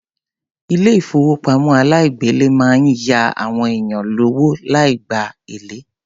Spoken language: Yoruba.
Ilé ìfowópamọ́ aláìgbèlé máa ń ya àwọn èèyàn lówó láì gba èlé.